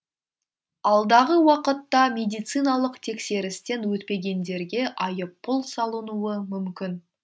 алдағы уақытта медициналық тексерістен өтпегендерге айыппұл салынуы мүмкін